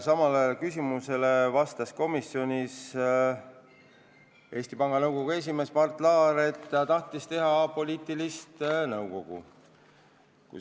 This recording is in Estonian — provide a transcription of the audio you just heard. Samale küsimusele komisjonis vastas Eesti Panga Nõukogu esimees Mart Laar, et ta tahtis teha apoliitilist nõukogu.